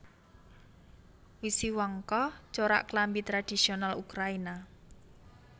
Wisiwanka corak klambi tradhisiyonal Ukrayina